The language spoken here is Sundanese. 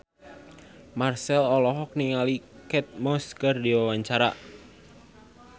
Marchell olohok ningali Kate Moss keur diwawancara